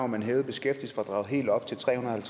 man hævede beskæftigelsesfradraget helt op til trehundrede og